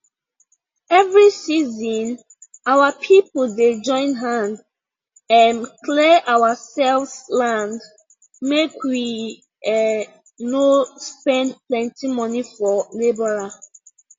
every season our people dey join hand um clear ourselves land make we um no spend plenty money for labourer